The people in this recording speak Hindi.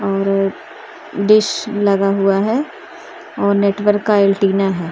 और डिश लगा हुआ है और नेटवर्क का एंटीना है ।